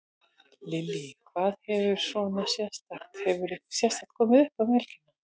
Lillý: Hvað hefur svona sérstakt, hefur eitthvað sérstakt komið uppá um helgina?